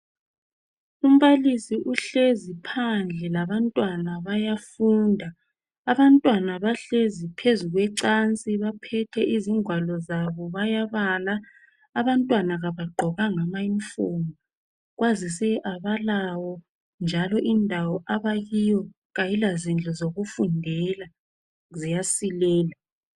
Umbalisi uhlezi phandle labantwana bayafunda. Abantwana bahlezi phezu kwecansi, Baphethe izingwalo zabo, bayabala. Abantwana kabagqokanga amauniform. Kwazise, kabalawo,. njalo indawo abakuyo, kayilazindlu zokufundela. Ziyasilela.